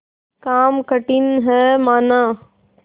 काम कठिन हैमाना